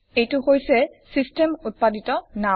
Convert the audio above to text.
এইটো হৈছে ছিষ্টেম উত্পাদিত নাম